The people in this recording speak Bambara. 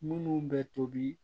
Munnu bɛ tobi